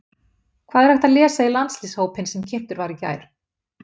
Hvað er hægt að lesa í landsliðshópinn sem kynntur var í gær?